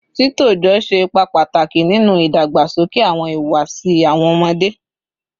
Titọjọ ṣe ipa pataki ninu didagbasoke awọn ihuwasi awọn ọmọde